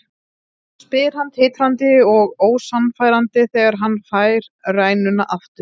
spyr hann titrandi og ósannfærandi þegar hann fær rænuna aftur.